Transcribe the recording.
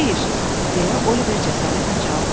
Xeyr, deyə Oliver cəsarətlə cavab verdi.